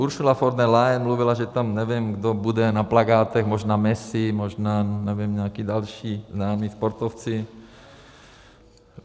Ursula von der Leyen mluvila, že tam nevím, kdo bude na plakátech, možná Messi, možná, nevím, nějaký další známí sportovci.